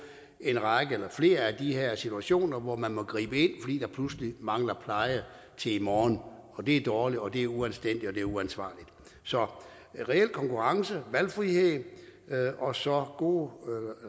flere af de her situationer hvor man må gribe ind fordi der pludselig mangler pleje til i morgen og det er dårligt og det er uanstændigt og det er uansvarligt så reel konkurrence valgfrihed og så gode